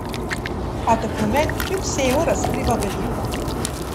A dokument kljub vsemu razkriva veliko.